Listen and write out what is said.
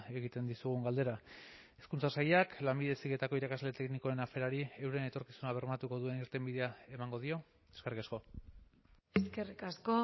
egiten dizugun galdera hezkuntza sailak lanbide heziketako irakasle teknikoen aferari euren etorkizuna bermatuko duen irtenbidea emango dio eskerrik asko eskerrik asko